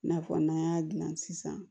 I n'a fɔ n'an y'a dilan sisan